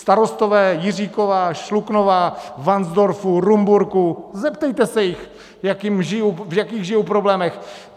Starostové Jiříkova, Šluknova, Varnsdorfu, Rumburku - zeptejte se jich, v jakých žijou problémech!